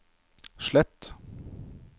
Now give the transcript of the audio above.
slett